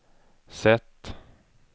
sätt